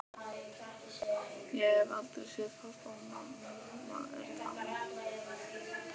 Ég hef aldrei séð pabba og mamma er dáin.